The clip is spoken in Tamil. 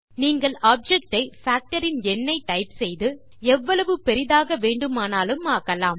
நீங்கள் ஆப்ஜெக்ட் ஐ பாக்டர் இன் எண்னை டைப் செய்து எவ்வளவு பெரிதாக வேண்டுமானாலும் ஆக்கலாம்